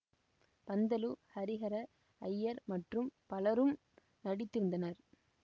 பந்துலு ஹரிஹர ஐயர் மற்றும் பலரும் நடித்திருந்தனர்